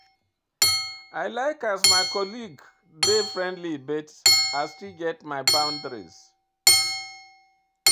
I like as my colleague dey friendly but I still get my boundaries.